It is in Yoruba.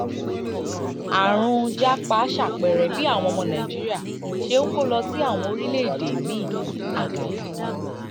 àrùn japa ṣàpẹẹrẹ bí àwọn ọmọ nàìjíríà ṣe ń kó lọ sí àwọn orílẹ̀-èdè míì àgàgà àgàgà